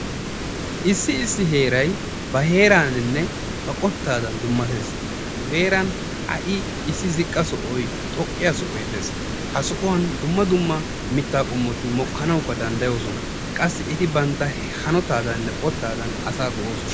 Issi issi heeray ba heeraadaaninne ba qottaadan dummatees. Nu heeran ha"i ziqqa sohoy, xoqqa sohoy dees. Ha sohuwan dumma dumma mittati mokkanawu danddayosona. Qassi bantta hanotaadaaninne qottaadan asaa go'oosona.